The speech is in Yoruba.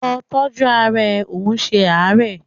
Lọ tọ́jú ara ẹ, ò ń ṣe àárẹ̀!